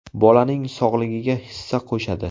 Bolaning sog‘lig‘iga hissa qo‘shadi.